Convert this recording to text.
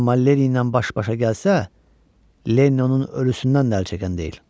Amma Lenny ilə baş-başa gəlsə, Lenny onun ölüsündən də əl çəkən deyil.